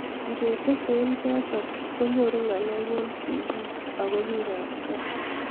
ngetese eng choto konyoru ngaleek eng sigiik ago bikaap gaa